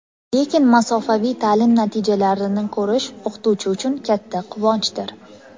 Lekin masofaviy ta’lim natijalarini ko‘rish o‘qituvchi uchun katta quvonchdir.